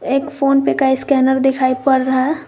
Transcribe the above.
एक PhonePe का scanner दिखाइए पड़ रहा है।